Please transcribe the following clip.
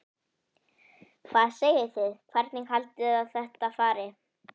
Hvað segið þið, hvernig haldið þið að þetta fari?